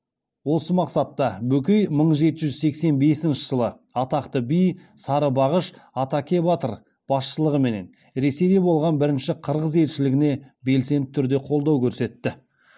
осы мақсатта бөкей мың жеті жүз сексен бесінші жылы атақты би сарыбағыш атакебатыр басшылығымен ресейде болған бірінші қырғыз елшілігіне белсенді түрде қолдау көрсетті